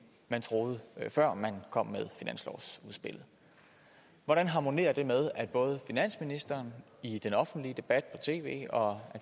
man troede før man kom med finanslovsudspillet hvordan harmonerer det med at både finansministeren i den offentlige debat på tv og